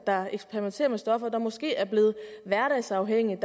eksperimenterer med stoffer og måske er blevet hverdagsafhængige og